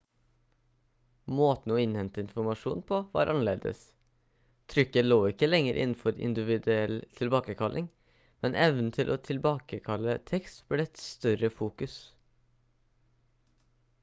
måten å innhente informasjon på var annerledes trykket lå ikke lenger innenfor individuell tilbakekalling men evnen til å tilbakekalle tekst ble et større fokus